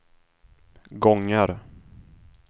gånger